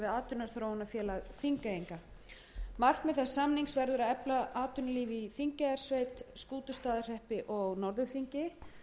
atvinnuþróunarfélag þingeyinga h f markmið þess samnings verður að efla atvinnulíf í þingeyjarsveit skútustaðahreppi og norðurþingi